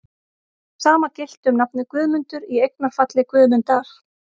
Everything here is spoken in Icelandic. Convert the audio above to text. Sama gilti um nafnið Guðmundur, í eignarfalli Guðmundar.